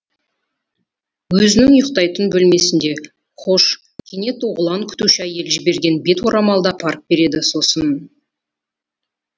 өзінің ұйықтайтын бөлмесінде хош кенет оғлан күтуші әйел жіберген бет орамалды апарып береді сосын